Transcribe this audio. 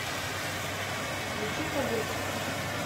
включи кадетство